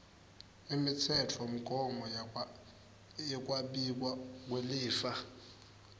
imitsetfomgomo yekwabiwa kwelifa